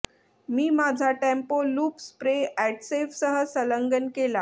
मी माझा tempo loop spray अॅडसेव्हसह संलग्न केला